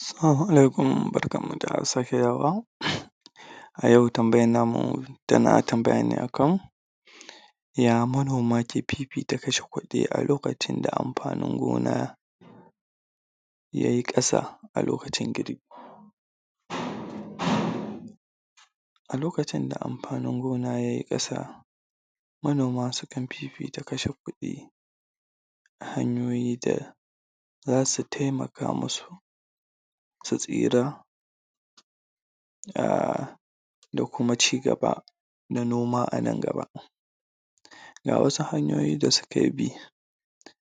Assalamu Alaikum, barkanmu da safiya ba A yau tambayan namu yana tambaya ne akan ya manoma ke fifita kashe kuɗi a lokacin da amfanin gona yayi ƙasa a lokacin girbi alokacin da amfanin gona yayi ƙasa manoma sukan fifita kashe kaɗi ta hanyoyi da zasu taimaka masu su tsira uhm dakuma cigaba na noma anan gaba Ga wasu hanyoyi da suke bi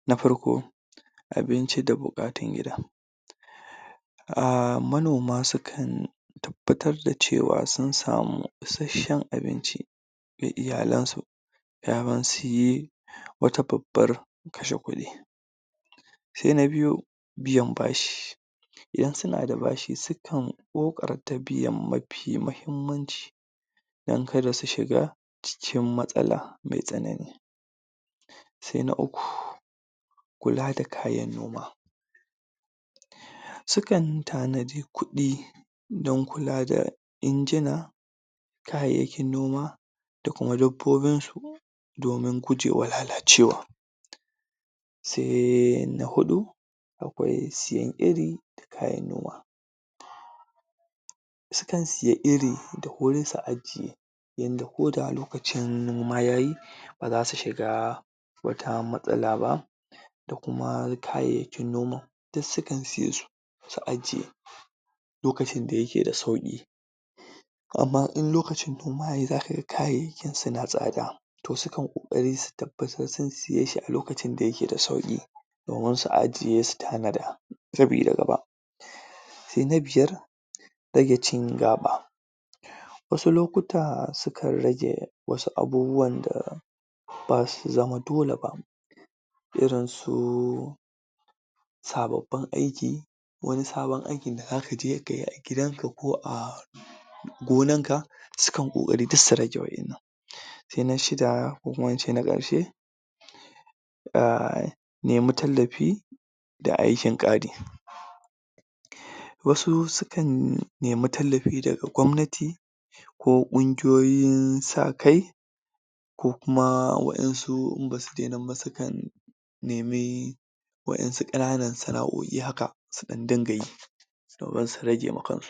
na farko abinci da buƙatar gida uhm manoma sukan tabbatar da cewa sun samu isasshen abinci da iyalansu ya zasuyi wata babban kashe kuɗi sai na biyu biyan bashi idan suna da bashi sukan ƙoƙarta biyan mafi mahimmanci dan kada su shiga cikin matsala mai tsanani sai na uku kulada kayan noma Sukan tanaji kuɗi dan kula da injima kayayyakin noma dakuma dabbobin su domin gujewa lalacewa Sai na huɗu akwai biyan iri da kayan noma Sukan siya iri da wuri su ajiye domin ko da lokacin noma yayi bara su shiga wata matsala ba da kuma kayayyakin noma duk sukan siyesu su su aje lokacin da yake da sauƙi Amma in lokacin noma yayi za kaga kayayyakin suna tsada sukan koƙari su tabbatar sun siyeshi a lokacin da yake da sauƙi domin su ajiye su tanada sabida sabida daba sai na biyar rage cin gaɓa Wasu lokuta sukan rage irin wasu abubuwan da basu zama dole ba irin suj sababbin aiki wani sabon aikin da za ka je ka iya gidanka ko a gonanka sukan ƙoƙari duk su rage wannan. Sai na shida ko kuma in ce na ƙarshe uhm nemi tallafi da aikin ƙari Wasu sukan nemi tallafi daga gwamnati ko ƙunguyoyin sakai ko kuma waɗansu in ba su nemiba sukan nimi waɗansu ƙananan sana'o'i haka su ɗan dunga yi domin su rage wa kans